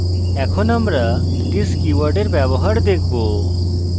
এখন আমরা this কীওয়ার্ডের ব্যবহার দেখব